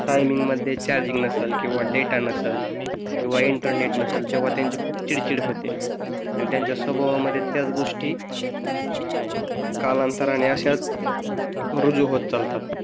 Timing मध्ये charging नसेल किंवा डेटा नसेल किंवा इंटरनेट नसेल किंवा त्यांची खूप चिडचिड होते आणि त्यांच्या स्वभावामध्ये त्याच गोष्टी कालांतराने अश्याच रुजू होत चालतात.